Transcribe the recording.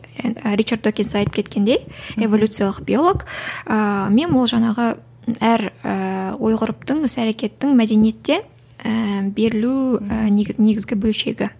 ричард докинз айтып кеткендей эволюциялық биолог ыыы мем ол жаңағы әр ііі ой ғұрыптың іс әрекеттің мәдениеттен ііі берілу і негізгі бөлшегі